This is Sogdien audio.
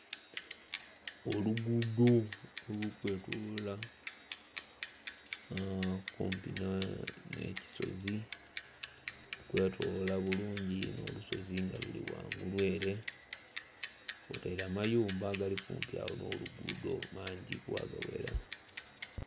Oluguudo oluli kwetolola kumpi nh'ekisozi, luli kwetolola bulungi inho olusozi nga luri ghangulu ere, kwotaire amayumba agali kumpi agho n'oluguudo mangiku agaghera.